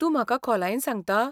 तूं म्हाका खोलायेन सांगता?